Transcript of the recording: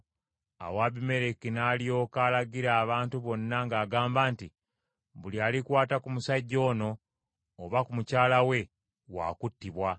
Awo Abimereki n’alyoka alagira abantu bonna ng’agamba nti, “Buli alikwata ku musajja ono oba ku mukyala we waakuttibwa.”